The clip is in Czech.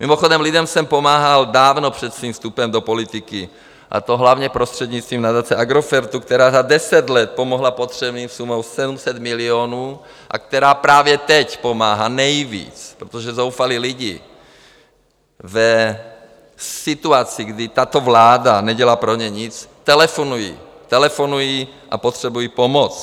Mimochodem, lidem jsem pomáhal dávno před svým vstupem do politiky, a to hlavně prostřednictvím nadace Agrofertu, která za deset let pomohla potřebným sumou 700 milionů a která právě teď pomáhá nejvíc, protože zoufalí lidé v situaci, kdy tato vláda nedělá pro ně nic, telefonují, telefonují a potřebují pomoc.